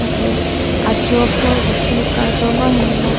la ke ajo apor isi kardom ahem long--